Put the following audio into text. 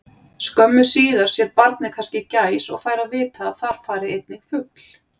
Skömmu síðar sér barnið kannski gæs og fær að vita að þar fari einnig fugl.